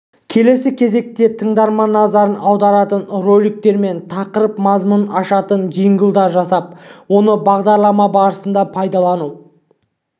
келесі кезекте тыңдарман назарын аударатын роликтер мен тақырып мазмұнын ашатын джинглдар жасап оны бағдарлама барысында пайдалану